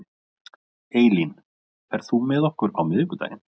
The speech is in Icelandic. Eylín, ferð þú með okkur á miðvikudaginn?